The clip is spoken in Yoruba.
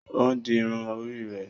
O n di irun orí rẹ